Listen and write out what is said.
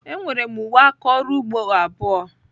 Enwere m uwe aka ọrụ ugbo abụọ.